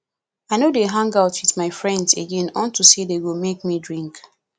i no dey hang out with my friends again unto say dey go make me drink